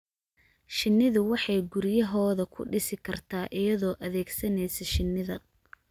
Shinnidu waxay guriyahooda ku dhisi kartaa iyadoo adeegsanaysa shinnida.